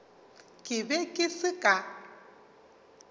ke be ke se ka